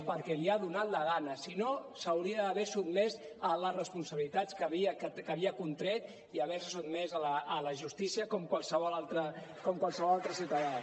perquè li ha donat la gana si no s’hauria d’haver sotmès a les responsabilitats que havia contret i haver se sotmès a la justícia com qualsevol altre ciutadà